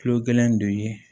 Kulo gɛlɛn de ye